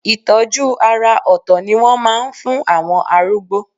Ìtọ́jú àrà òtò ni wọ́n máa ń fún àwọn arúgbó.